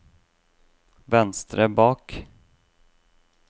venstre bak